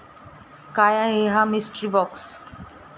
काय आहे हा 'मिस्ट्री बाॅक्स'?